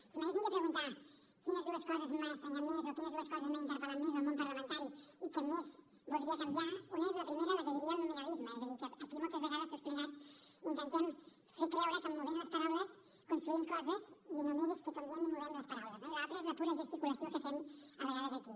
si m’haguessin de preguntar quines dues coses m’han estranyat més o quines dues coses m’han interpel·lat més del món parlamentari i que més voldria canviar una és la primera la que en diria el nominalisme és a dir que aquí moltes vegades tots plegats intentem fer creure que movent les paraules construïm coses i només és que com diem movem les paraules no i l’altra és la pura gesticulació que fem a vegades aquí